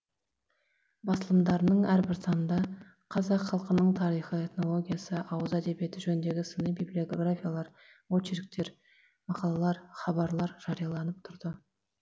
басылымдарының әрбір санында қазақ халқының тарихы этнологиясы ауыз әдебиеті жөніндегі сыни библиографиялар очерктер мақалалар хабарлар жарияланып тұрды